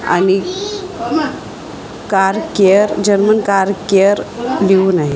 आणि car care German car care लिहून आहे.